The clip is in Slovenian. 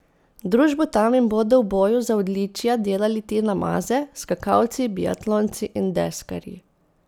Družbo tam jim bodo v boju za odličja delali Tina Maze, skakalci, biatlonci in deskarji.